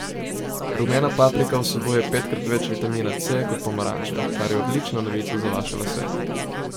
Rumena paprika vsebuje petkrat več vitamina C kot pomaranče, kar je odlična novica za vaše lase.